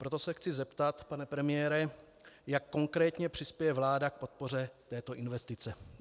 Proto se chci zeptat, pane premiére, jak konkrétně přispěje vláda k podpoře této investice.